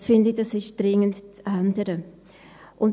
Das, finde ich, ist dringend zu ändern.